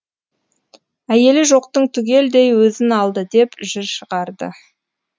әйелі жоқтыңтүгелдей өзін алды деп жыр шығарды